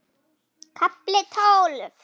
KAFLI TÓLF